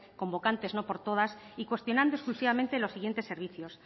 convocantes no por todas y cuestionando exclusivamente los siguientes servicios